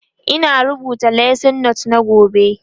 Ina rubuta lesson note na gobe